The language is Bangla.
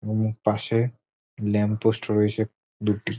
এবং পাশে ল্যাম্প পোস্ট রয়েছে দুটি।